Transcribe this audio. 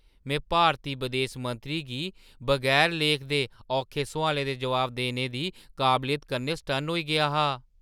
में भारती बदेस मंत्री दी बगैर लेख दे औखे सोआलें दे जवाब देने दी काबलियत कन्नै सटन्न होई गेआ हा!